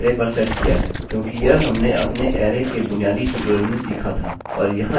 हम यह कह सकते हैं कि यह अरै पर सेट किया है क्योंकि यह हमने अपने अरै के बुनियादी ट्यूटोरियल में सीखा था